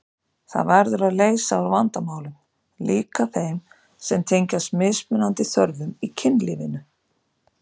Það verður að leysa úr vandamálum, líka þeim sem tengjast mismunandi þörfum í kynlífinu.